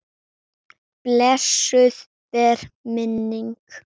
Blessuð veri minning beggja.